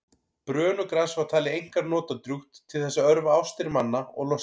brönugras var talið einkar notadrjúgt til þess að örva ástir manna og losta